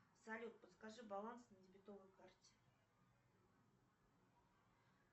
салют подскажи баланс на дебетовой карте